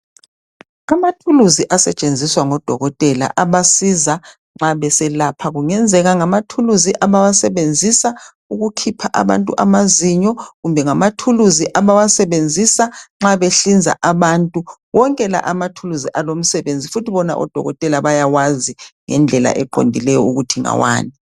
Amathuluzi asetshenziswa ngodokotela abasiza nxa beselapha kungenzeka ngamathuluzi abawasebenzisa ukukhipha abantu amazinyo kumbe ngamathuluzi abawasebenzisa nxa behlinza abantu wonke lawa amathuluzi alomsebenzi futhi bona odokotela bayawazi ngendlela eqondileyo ukuthi ngawani.